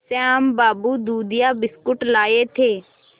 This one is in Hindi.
श्याम बाबू दूधिया बिस्कुट लाए थे